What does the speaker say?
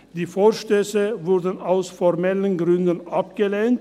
Die Vorstösse wurden aus formellen Gründen abgelehnt.